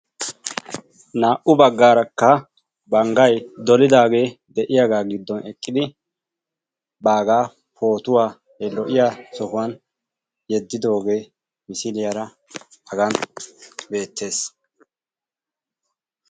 Naa''u baggarakka banggay dolidaage de'yaaga giddon eqqidi baaga pootuwaa he lo''iyaa sohuwwan yeddidooge misliyaara haga beettees.